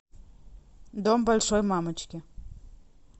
дом большой мамочки